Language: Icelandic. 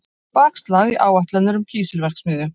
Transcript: Bakslag í áætlanir um kísilverksmiðju